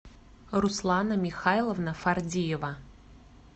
руслана михайловна фардиева